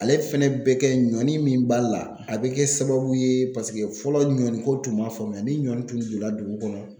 Ale fɛnɛ bɛ kɛ ɲɔni min b'a la, a bɛ kɛ sababu ye paseke fɔlɔ ɲɔni ko tun ma faamuya, ni ɲɔni tun donna dugu kɔnɔ.